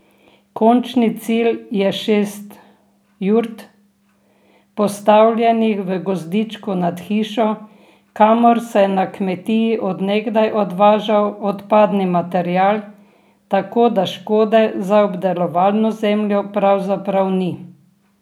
Končni cilj je šest jurt, postavljenih v gozdičku nad hišo, kamor se je na kmetiji od nekdaj odvažal odpadni material, tako da škode za obdelovalno zemljo pravzaprav ni.